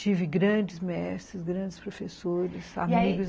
Tive grandes mestres, grandes professores, amigos, e aí